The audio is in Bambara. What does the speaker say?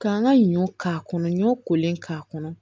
K'an ka ɲɔ k'a kɔnɔ ɲɔ kolen k'a kɔnɔ